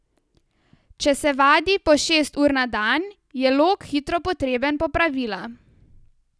Če se vadi po šest ur na dan, je lok hitro potreben popravila.